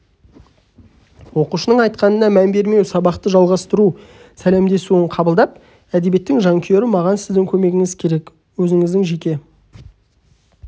оқушының айтқанына мән бермей сабақты жалғастыру сәлемдесуін қабылдап әдебиеттің жанкүйері маған сіздің көмегіңіз керек өзініздің жеке